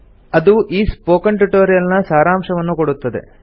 ಅದು ಈ spoken tutorial ನ ಸಾರಾಂಶವನ್ನು ಕೊಡುತ್ತದೆ